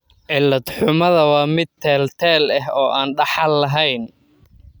Cilad-xumada waa mid teel-teel ah oo aan dhaxal lahayn.